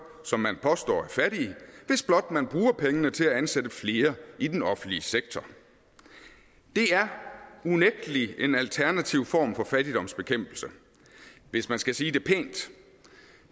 som man påstår er fattige hvis blot man bruger pengene til at ansætte flere i den offentlige sektor det er unægtelig en alternativ form for fattigdomsbekæmpelse hvis man skal sige det pænt